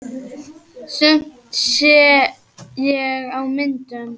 Sumt sé ég á myndum.